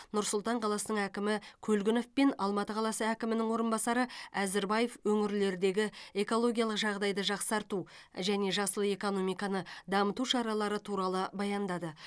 нұр сұлтан қаласының әкімі көлгінов пен алматы қаласы әкімінің орынбасары әзірбаев өңірлердегі экологиялық жағдайды жақсарту және жасыл экономиканы дамыту шаралары туралы баяндады